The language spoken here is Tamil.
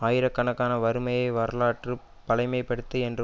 ஆயிரக்கணக்கான வறுமையை வரலாற்று பழைமைப்படுத்து என்ற